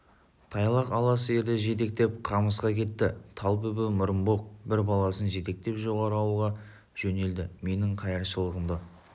тайлақ ала сиырды жетектеп қамысқа кетті талбүбі мұрынбоқ бір баласын жетектеп жоғары ауылға жөнелді менің қайыршылығымды